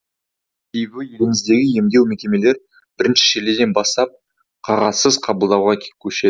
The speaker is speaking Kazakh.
себебі еліміздегі емдеу мекемелері бірінші шілдеден бастап қағазсыз қабылдауға көшеді